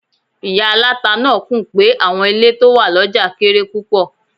Ìyá aláta náà kùn pé àwọn ilé tó wà lọ́jà kéré lọ́pọ̀lọpọ̀.